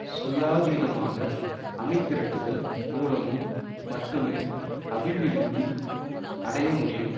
சுயாதீனமாக அணிதிரட்டுதல் மூலமும் மட்டுமே அபிவிருந்தி அடைய முடியும்